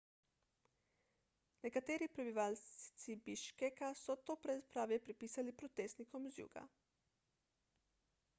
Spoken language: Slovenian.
nekateri prebivalci biškeka so to brezpravje pripisali protestnikom z juga